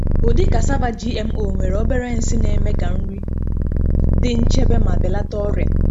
Ụdị cassava GMO nwere obere nsị na-eme ka nri dị nchebe ma belata ọrịa.